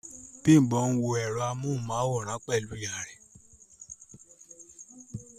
Bímbọ́ n wọ ẹ̀rọ amóhùnmáwòrán pẹ̀lú ìyá rẹ̀